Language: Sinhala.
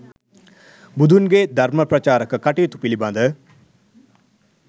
බුදුන්ගේ ධර්ම ප්‍රචාරක කටයුතු පිළිබඳ,